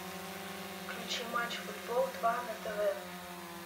включи матч футбол два на тв